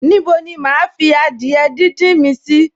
Ní bo ni máa fi adìẹ díndín mi sì?